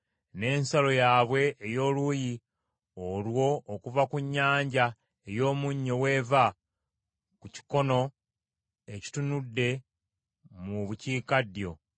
N’ensalo yaabwe ey’oluuyi olwo okuva ku Nnyanja ey’Omunnyo w’eva, ku kikono ekitunudde mu bukiikaddyo;